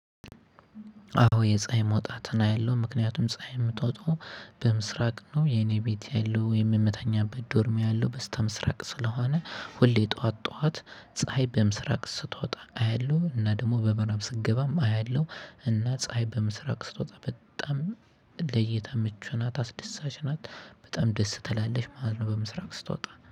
አዎ የፀሀይ መውጣትን አያለው ምክንያቱም ፀሀይ የምትወጣው በምስራቅ ነው የኔ ቤት ያለው የምተኛበት ዶርም ያለው በስተምስራቅ ስለሆነ ሁሌ ጠዋት ጠዋት ፀሀይ በምስራቅ ስትወጣ አያለው እና ደግሞ በምእራብ ስትገባም አያለው እና ፀሀይ በምስራቅ ስትወጣ በጣም ለእይታ ምቹ ናት አስደሳች ናት በጣም ደስ ትላለች ማለት ነው። በምስራቅ ስትወጣ